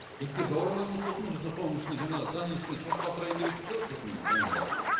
иттер жаурамай ма сосын біз де соның ішіне жаңағы здание ішіне шошқа асырайын деп едік те сосын жаңағы